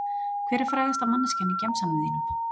Hver er frægasta manneskjan í gemsanum þínum?